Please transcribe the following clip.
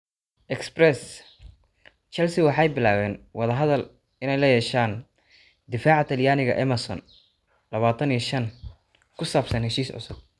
(Express) Chelsea waxay bilaabeen wada hadal la yeesheen daafaca Talyaaniga Emerson, lawatan iyo shan, ku saabsan heshiis cusub.